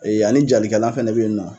ani jalikɛlan fɛnɛ bɛ yen nɔ.